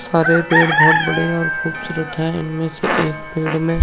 हरे पेड़ बोहोत बढ़िया और खूबसूरत हैं इनमें से एक पेड़ में --